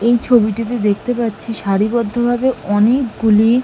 এই ছবিটিতে দেখতে পাচ্ছি সারিবদ্ধভাবে অনেকগুলি--